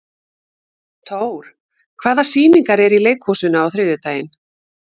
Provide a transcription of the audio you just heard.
Thór, hvaða sýningar eru í leikhúsinu á þriðjudaginn?